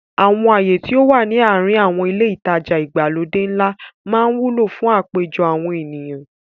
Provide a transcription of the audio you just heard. Àwọn ààyè tí ó wà ní àrin àwọn ilé ìtajà ìgbàlódé ńlá máa ń wúlò fún àpéjọ àwọn ènìyàn.